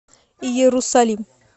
иерусалим